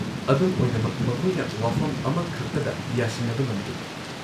-ꯑꯗꯨꯝ ꯑꯣꯏꯅꯃꯛ ꯃꯈꯣꯏꯅ ꯋꯥꯐꯝ ꯑꯃꯈꯛꯇꯗ ꯌꯥꯁꯤꯟꯅꯕ ꯉꯝꯗꯦ ꯫